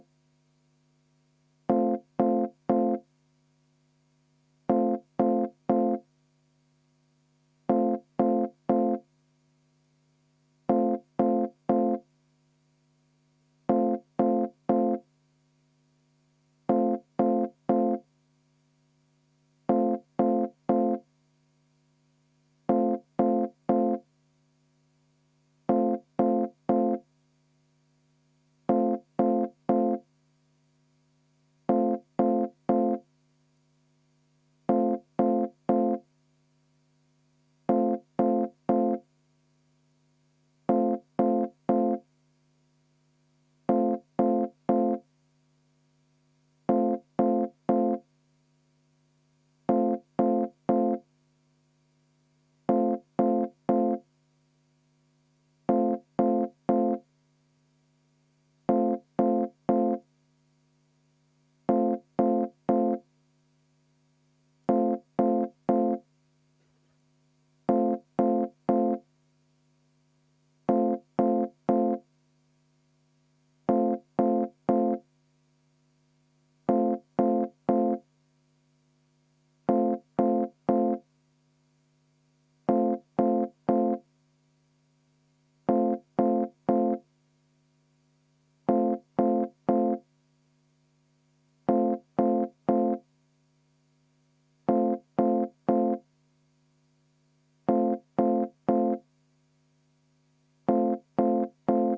V a h e a e g